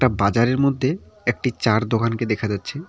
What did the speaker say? বাজারের মধ্যে একটি চা'র দোকানকে দেখা যাচ্ছে।